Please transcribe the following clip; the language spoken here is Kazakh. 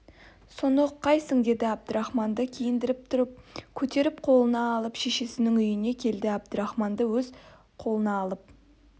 соны ұққайсың деді әбдірахманды киіндіріп тұрып көтеріп қолына алып шешесінің үйіне келді әбдірахманды өз қолына алып